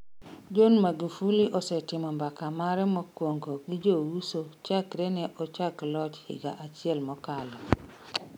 John Magufuli osetimo mbaka mare mokwongo gi jouso chakre ne ochako loch higa achiel mokalo.